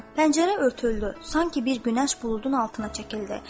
Pəncərə örtüldü, sanki bir günəş buludun altına çəkildi.